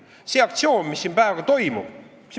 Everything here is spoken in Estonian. Aga see aktsioon, mis siin praegu toimub ...